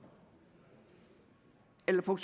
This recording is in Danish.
elleve og